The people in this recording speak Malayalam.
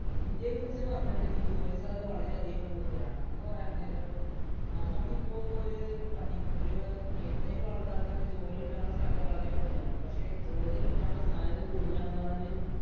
ഇന്ത്യയെ കുറിച്ച് പറയുകയാണെങ്കില്‍ ജോലിസാധ്യത വളരെയധികം കൂടുതലാണ്. എന്ന് പറയാന്‍ നേരം നമ്മക്ക് ഇപ്പൊ ഒരു പഠി ഒരു എന്തെങ്കിലും ആള്‍ക്കാര്‍ക്ക് ജോലി കിട്ടാനുള്ള സാധ്യത വളരെ കൂടുതലാണ്. പക്ഷേ, ജോലി കിട്ടാനുള്ള സാധ്യത കൂടുതലാണെന്ന് പറഞ്ഞ്